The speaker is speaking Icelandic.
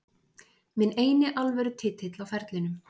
Minn eini alvöru titill á ferlinum.